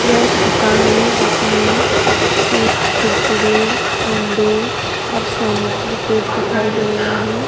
यह एक दुकान है जिसमें चिप्स कुरकुरे अंडे और सेनेटरी पैड दिखाई दे रहे हैं।